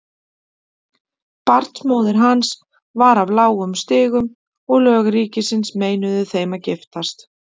Barnsmóðir hans var af lágum stigum og lög ríkisins meinuðu þeim að giftast.